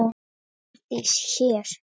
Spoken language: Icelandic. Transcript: Herdís hér.